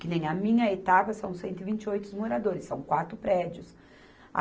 Que nem a minha etapa são cento e vinte e oito moradores, são quatro prédios.